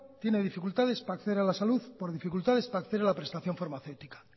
tiene dificultades para acceder a la salud por dificultades para acceder a la prestación farmacéutica